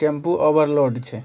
Tempo over छै।